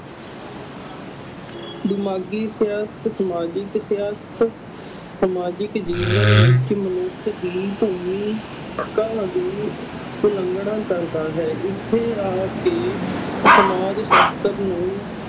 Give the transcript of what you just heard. ਦਿਮਾਗੀ ਸਿਹਤ, ਸਮਾਜਿਕ ਸਿਹਤ ਸਮਾਜਿਕ ਜੀਵਨ ਵਿੱਚ ਮਨੁੱਖ ਦੀ ਭੂਮੀ ਦੀ ਉਲੰਘਣਾ ਕਰਦਾ ਹੈ ਇੱਥੇ ਆ ਕੇ ਸਮਾਜ ਸ਼ਾਸਤਰ ਨੂੰ